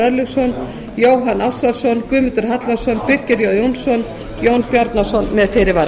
örlygsson jóhann ársælsson guðmundur hallvarðsson birkir jón jónsson og jón bjarnason með fyrirvara